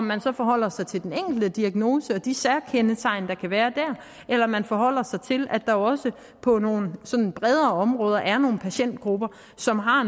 man så forholder sig til den enkelte diagnose og de særkender der kan være der eller man forholder sig til at der også på nogle bredere områder er nogle patientgrupper som har